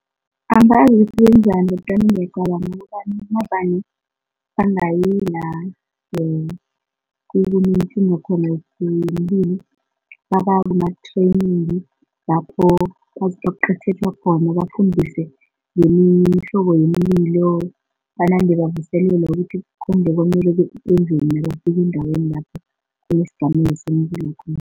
Angazi ukuthi benzani kodwana ngiyacabanga ukobana navane bangayi la kunekinga khona yomlilo baba kuma-training lapho baziqeqetjha khona bafundiswe ngemihlobo yemililo, banande bavuselelwa ukuthi konje kwamele benzeni nabafike endaweni lapho kunesigameko somlilo khona.